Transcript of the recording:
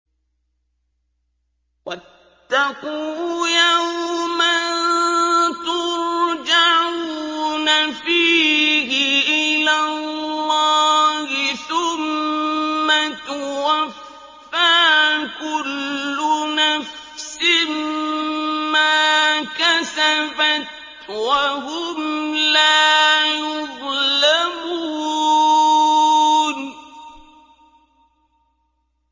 وَاتَّقُوا يَوْمًا تُرْجَعُونَ فِيهِ إِلَى اللَّهِ ۖ ثُمَّ تُوَفَّىٰ كُلُّ نَفْسٍ مَّا كَسَبَتْ وَهُمْ لَا يُظْلَمُونَ